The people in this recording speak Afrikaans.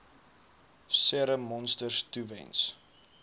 serum monsters toewens